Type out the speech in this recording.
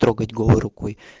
трогать голой рукой